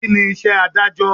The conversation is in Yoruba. Kíni iṣẹ́ Ádájọ́?